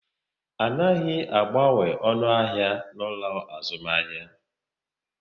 A naghi agbanwe onu ahia n'ulo azumahia